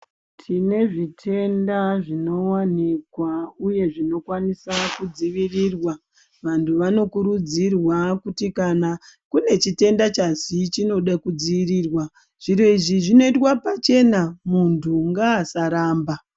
Tine zvitenda zvinowanikwa uye zvinokwanisa kudzivirirwa. Vanhu vanokurudzirwa kuti kana une chitenda chazi chinoda kudzivirirwa. Zviro izvi zvinoitwa pachena muntu ngaasaramba.